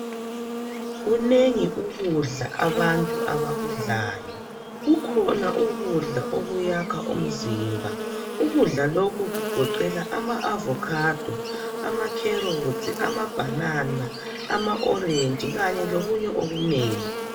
Kunengi ukudla abantu abakudlayo. Kukhona ukudla okuyakha umzimba, okugoqela ama avokhado, amakherotsi, amabhanana, ama orenji, kanye lokunye okunengi.